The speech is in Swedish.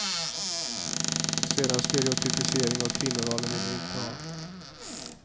En sådan stereotypisering av kvinnorollen vill vi inte ha.